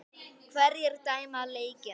Hverjir dæma leikina?